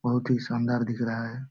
बहुत ही शानदार दिख रहा है।